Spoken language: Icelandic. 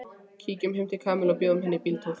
Kíkjum heim til Kamillu og bjóðum henni í bíltúr